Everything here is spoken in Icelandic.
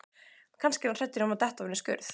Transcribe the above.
Kannski er hann hræddur um að detta ofan í skurð.